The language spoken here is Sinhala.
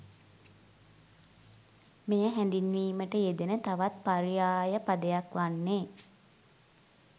මෙය හැඳින්වීමට යෙදෙන තවත් පර්යාය පදයක් වන්නේ